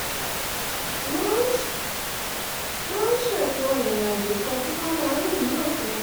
wọ́n ṣètò ìrìn àjò kan tí wọ́n máa rìn ní òpin ọ̀sẹ̀